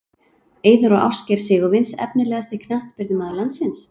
Eiður og Ásgeir Sigurvins Efnilegasti knattspyrnumaður landsins?